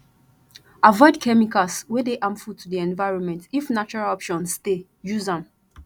avoid chemicals wey dey harmful to di environment if natural options dey use dem